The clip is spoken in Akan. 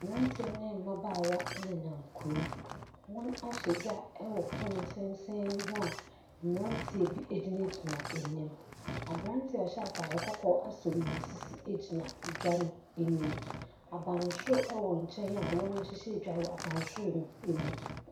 Mmeranteɛ ne mmabaawa nenam kurom. Wɔahyɛ dwa wɔ pono tenten ho a mmeranteɛ bi gyinagyina anim. Aberanteɛ a ɔhyɛ atade kɔkɔɔ asɔ ne sisi gyina dwa no anim. Abansoro wɔ nkyɛn a wɔahyehyɛ dwa wɔ abansoro no anim.